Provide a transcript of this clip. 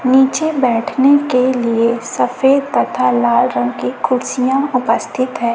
नीचे बैठने के लिए सफेद तथा लाल रंग की कुर्सियां उपस्थित है।